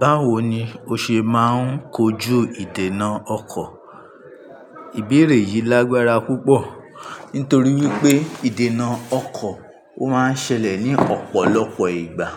Báwo ni o ṣe máa ń kojú ìdènà ọkọ̀? Ìbéèrè yìí lágbára púpọ̀ nítorí wípé ìdènà ọkọ̀ ó máa ń ṣẹlẹ̀ ní ọ̀pọ̀lọpọ̀ ìgbà.